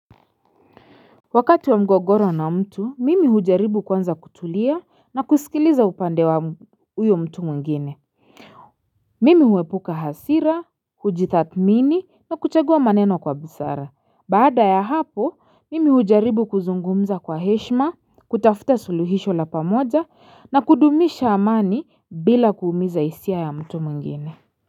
Wakati wa mgogoro na mtu mimi hujaribu kwanza kutulia na kusikiliza upande wa huyo mtu mungine Mimi huepuka hasira, hujitathmini na kuchagua maneno kwa busara, baada ya hapo mimi hujaribu kuzungumza kwa heshma, kutafuta suluhisho la pamoja na kudumisha amani bila kuumiza hisia ya mtu mwingine.